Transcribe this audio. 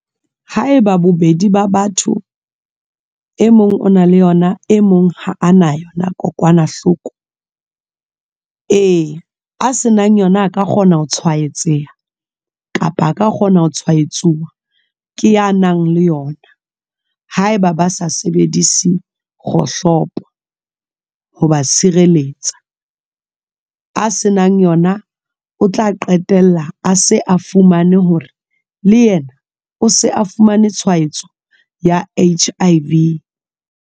Ha eba bobedi ba batho e mong o na le yona e mong ha a na yona kokwanahloko eya a se nang yona a ka kgona ho tshwaetseha kapa a ka kgona ho tshwaetsuwa ke ya nang le yona. Ha eba ba sa sebedise kgohlopo ho ba sireletsa a se nang yona, o tla qetella a se a fumane hore le yena o se a fumane tshwaetso ya H_I_V.